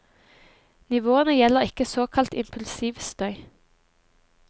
Nivåene gjelder ikke såkalt impulsiv støy.